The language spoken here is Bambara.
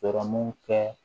Sɔrɔmu kɛ